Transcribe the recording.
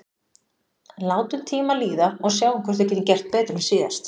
En látum tímann líða og sjáum hvort við getum gert betur en síðast.